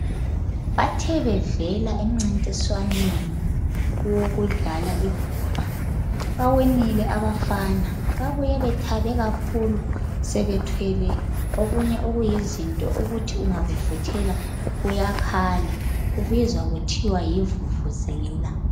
Bathe bevela emncintiswaneni wokudlala ibhola bawinile abafana. Babuye bethabe kakhulu sebethwele okunye okuyizinto okuthi ungavukuthela kuyakhala, kubizwa kuthiwa yivuvuzela.